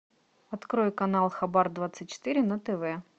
открой канал хабар двадцать четыре на тв